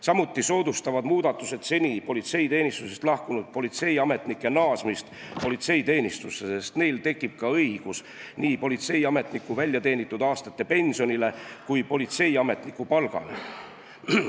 Samuti soodustavad muudatused seni politseiteenistusest lahkunud politseiametnike naasmist politseiteenistusse, sest neil tekib õigus nii politseiametniku väljateenitud aastate pensionile kui ka politseiametniku palgale.